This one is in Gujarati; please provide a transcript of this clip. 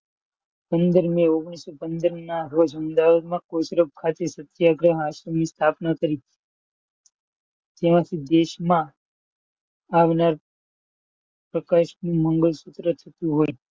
પંદરમી ઓગણીસો પંદરના રોજ મેં અમદાવાદમાં કોચરબ ખાતે સત્યાગ્રહ આશ્રમની સ્થાપના કરી. ત્યારથી દેશમાં આવનાર પ્રકાશનું મંગળસૂત્ર તૂટ્યું હોય,